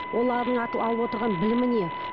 олардың алып отырған білімі не